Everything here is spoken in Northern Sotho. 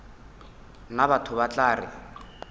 nna batho ba tla re